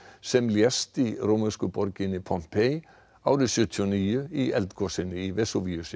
sem lést í rómversku borginni Pompeii árið sjötíu og níu í eldgosinu í